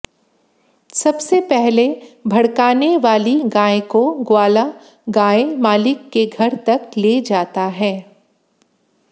सबसे पहले भडक़ाने वाली गाय को ग्वाला गाय मालिक के घर तक ले जाता है